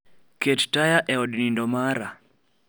Ket taya e od nindo mara